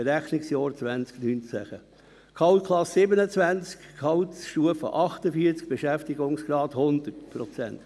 Berechnungsjahr 2019, Gehaltsklasse 27, Gehaltsstufe 48, Beschäftigungsgrad 100 Prozent.